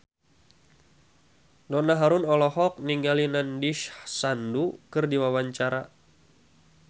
Donna Harun olohok ningali Nandish Sandhu keur diwawancara